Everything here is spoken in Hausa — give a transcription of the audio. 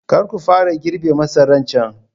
Kar ku fara girbe masaran can!